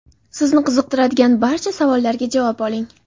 Sizni qiziqtiradigan barcha savollarga javob oling!.